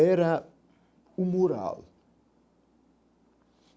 Era um mural.